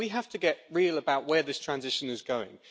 We have to get real about where this transition is going.